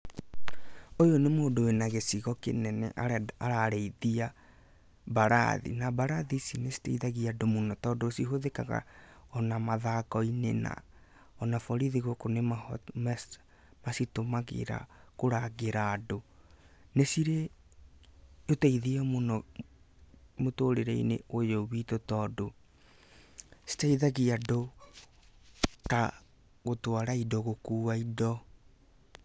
Ũyũ nĩ mũndũ wĩna gĩcigo kĩnene ararĩithia mbarathi, na mbarathi ici nĩ citeithagia andũ mũno, tondũ cihũthĩkaga o na mathako-inĩ, na o na borithi gũkũ nĩ macitũmagĩra kũrangĩra andũ. Nĩ cirĩ ũteithio mũno mũtũrĩre-inĩ ũyũ witũ, tondũ citeithagia andũ ta gũtwara indo, gũkua indo.